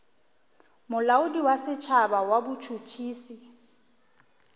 molaodi wa setšhaba wa botšhotšhisi